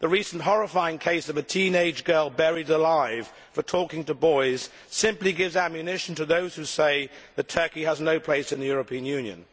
The recent horrifying case of a teenage girl buried alive for talking to boys simply gives ammunition to those who say that Turkey has no place in the European Union.